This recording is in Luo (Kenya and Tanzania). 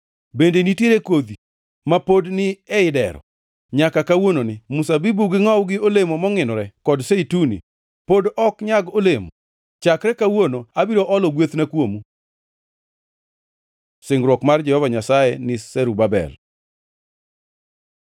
Bende nitiere kodhi ma pod ni ei dero? Nyaka kawuononi mzabibu gi ngʼowu gi olemo mongʼinore kod zeituni pod ok nyag olemo. “ ‘Chakre kawuono abiro olo gwethna kuomu.’ ” Singruok mar Jehova Nyasaye ni Zerubabel